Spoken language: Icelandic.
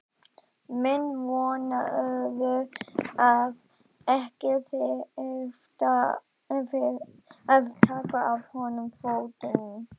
Menn vonuðu að ekki þyrfti að taka af honum fótinn.